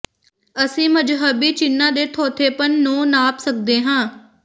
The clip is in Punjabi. ਅਸੀਂ ਮਜ਼ਹਬੀ ਚਿੰਨਾਂ ਦੇ ਥੋਥੇਪਨ ਨੂੰ ਨਾਪ ਸਕਦੇ ਹਾਂ